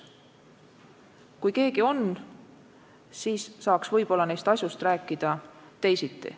Kui keegi oleks olnud, siis saaks võib-olla neist asjust rääkida teisiti.